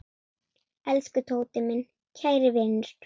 Elsku Tóti, minn kæri vinur.